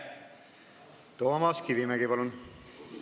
Toomas Kivimägi, palun!